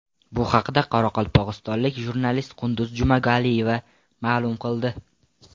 Bu haqda qoraqalpog‘istonlik jurnalist Qunduz Jumagaliyeva ma’lum qildi.